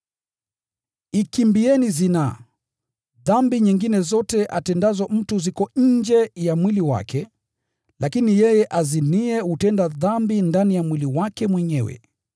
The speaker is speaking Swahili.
Ikimbieni zinaa. Dhambi zingine zote atendazo mtu ziko nje ya mwili wake, lakini yeye aziniye hutenda dhambi ndani ya mwili wake mwenyewe.